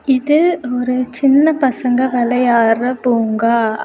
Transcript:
இது ஒரு சின்ன பசங்க விளையாடுற பூங்கா.